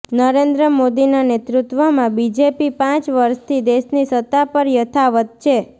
નરેન્દ્ર મોદીનાં નેતૃત્વમાં બીજેપી પાંચ વર્ષથી દેશની સત્તા પર યથાવત છે